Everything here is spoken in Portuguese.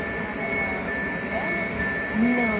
A senhora é a a mais velha dos irmãos? Não.